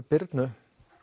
Birnu